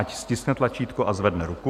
Ať stiskne tlačítko a zvedne ruku.